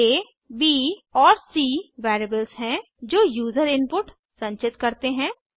a b और c variables हैं जो यूजर इनपुट संचित करते हैं